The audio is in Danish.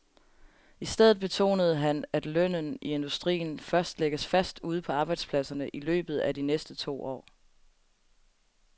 I stedet betonede han, at lønnen i industrien først lægges fast ude på arbejdspladserne i løbet af de næste to år.